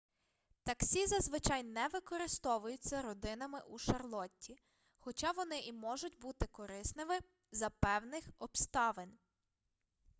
таксі зазвичай не використовуються родинами у шарлотті хоча вони і можуть бути корисними за певних обставин